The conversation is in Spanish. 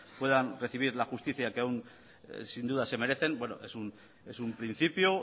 puedan recibir la justicia que aún sin duda se merecen es un principio